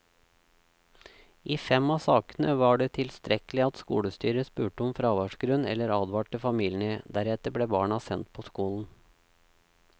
I fem av sakene var det tilstrekkelig at skolestyret spurte om fraværsgrunn eller advarte familiene, deretter ble barna sendt på skolen.